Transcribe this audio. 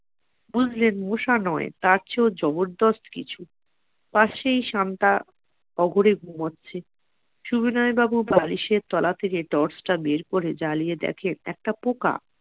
বুঝলেন মশা নয় তার চেয়ে ও জবরদস্ত কিছু পাশেই শান্তা অগরে ঘুমাচ্ছে সুবিনয় বাবু বালিশের তলা থেকে torch টা বের করে দেখেন একটা পোকা